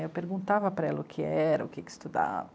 Eu perguntava para ela o que era, o que que estudava.